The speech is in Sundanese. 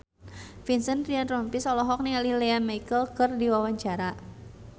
Vincent Ryan Rompies olohok ningali Lea Michele keur diwawancara